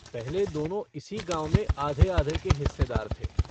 पहले दोनों इसी गाँव में आधे-आधे के हिस्सेदार थे।